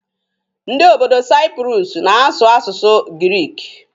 Ndị obodo Saipurusu na-asụ asụsụ giriki.